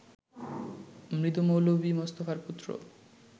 মৃত মৌলভী মোস্তফার পুত্র